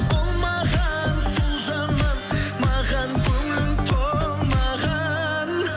болмаған сол жаман маған көңілің толмаған